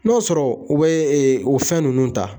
N'o sɔrɔ u bɛ o fɛn ninnu ta.